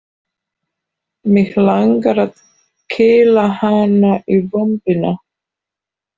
Mig langar að kýla hann í vömbina.